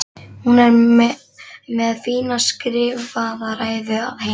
Hún er með fína skrifaða ræðu að heiman